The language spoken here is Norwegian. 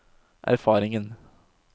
erfaringen